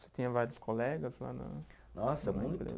Você tinha vários colegas lá na. Nossa, muito.